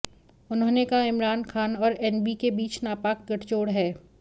उन्होंने कहा इमरान खान और एनएबी के बीच नापाक गठजोड़ है